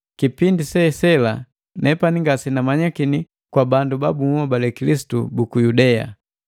Kipindi sesela, nepani ngasenamanyakini kwa bandu ba bunhobale Kilisitu buku Yudea.